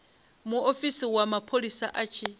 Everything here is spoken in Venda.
muofisi wa mapholisa a tshi